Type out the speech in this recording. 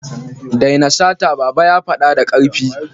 Daina sata! Baba ya fada da karfi.